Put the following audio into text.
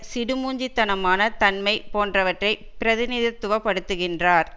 சிடுமூஞ்சி தனமான தன்மை போன்றவற்றை பிரதிநிதித்துவப்படுத்துகின்றார்